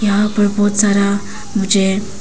यहां पर बहोत सारा मुझे--